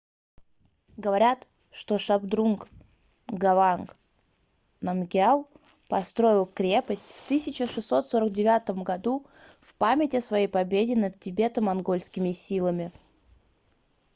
говорят что шабдрунг нгаванг намгьял построил крепость в 1649 в память о своей победе над тибето-монгольскими силами